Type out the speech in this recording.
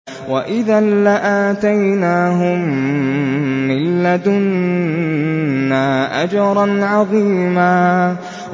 وَإِذًا لَّآتَيْنَاهُم مِّن لَّدُنَّا أَجْرًا عَظِيمًا